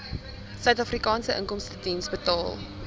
suidafrikaanse inkomstediens betaal